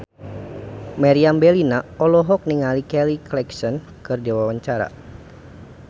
Meriam Bellina olohok ningali Kelly Clarkson keur diwawancara